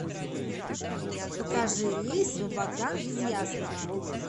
покажи рейс в абакан из ясного